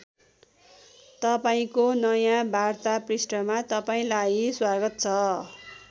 तपाईँको नयाँ वार्ता पृष्ठमा तपाईँलाई स्वागत छ।